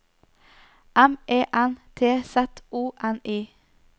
M E N T Z O N I